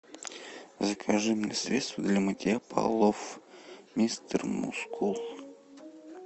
закажи мне средство для мытья полов мистер мускул